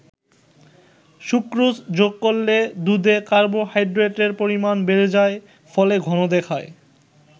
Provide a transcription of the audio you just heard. Sucrose যোগ করলে দুধে কার্বোহাইড্রেটের পরিমাণ বেড়ে যায় ফলে ঘন দেখায়।